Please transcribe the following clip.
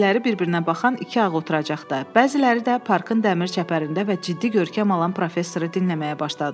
Bəziləri bir-birinə baxan iki ağ oturacaqda, bəziləri də parkın dəmir çəpərində və ciddi görkəm alan professoru dinləməyə başladılar.